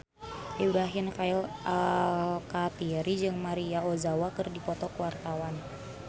Ibrahim Khalil Alkatiri jeung Maria Ozawa keur dipoto ku wartawan